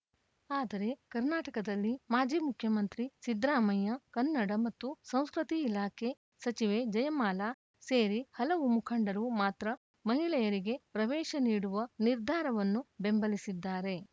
ಆದರೆ ಕರ್ನಾಟಕದಲ್ಲಿ ಮಾಜಿ ಮುಖ್ಯಮಂತ್ರಿ ಸಿದ್ದರಾಮಯ್ಯ ಕನ್ನಡ ಮತ್ತು ಸಂಸ್ಕೃತಿ ಇಲಾಖೆ ಸಚಿವೆ ಜಯಮಾಲಾ ಸೇರಿ ಹಲವು ಮುಖಂಡರು ಮಾತ್ರ ಮಹಿಳೆಯರಿಗೆ ಪ್ರವೇಶ ನೀಡುವ ನಿರ್ಧಾರವನ್ನು ಬೆಂಬಲಿಸಿದ್ದಾರೆ